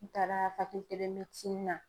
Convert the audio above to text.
N taara na.